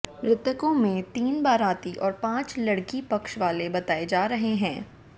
मृतकों में तीन बाराती और पांच लड़की पक्ष वाले बताए जा रहे हैं